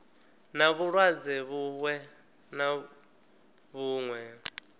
na vhulwadze vhuṅwe na vhuṅwe